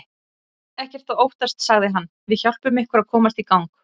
Ekkert að óttast sagði hann, við hjálpum ykkur að komast í gang.